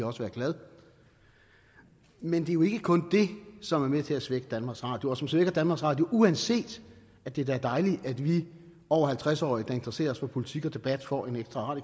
også være glad men det er jo ikke kun det som er med til at svække danmarks radio og som svækker danmarks radio uanset at det da er dejligt at vi over halvtreds årige der interesserer os for politik og debat får en ekstra